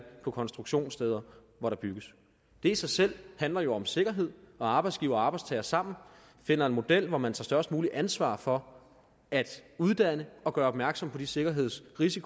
på konstruktionssteder hvor der bygges det i sig selv handler jo om sikkerhed og arbejdsgiver og arbejdstager sammen finder en model hvor man tager størst muligt ansvar for at uddanne og gøre opmærksom på de sikkerhedsrisici